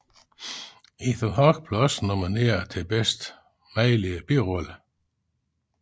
Ethan Hawke blev også nomineret til bedste mandlige birolle